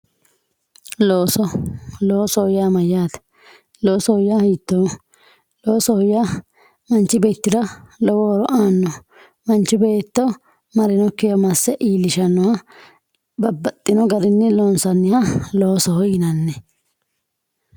loosoho yaa mayyaate loosoho yaa hiittooho loosoho yaa manchi beettira lowo horo aannoho manchi beetto marinokkiwa masse iillishannoha babbaxxino garinni loonsanniha loosoho.